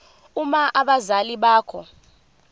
uma abazali bakho